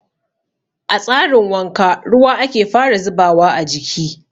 A tsarin wanka ruwa ake fara zubawa a jiki.